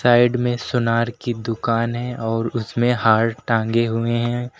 Side में सुनार की दुकान है और उसमें हार टांगे हुए हैं।